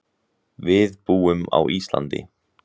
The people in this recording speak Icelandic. Við búum á Íslandi.